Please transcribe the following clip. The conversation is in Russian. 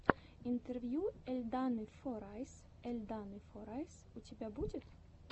интервью эльданы форайс эльданы форайс у тебя будет